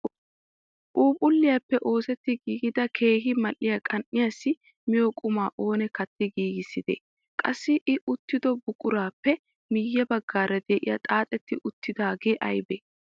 Phuuphphulliyaappe oosetti gigida keehippe mal"iyaa qan"iyaassi miyoo qumaa oonee katti giigisidee? Qassi i uttido buquraappe miye baggaara de'iyaa xaaxetti uttidagee aybee?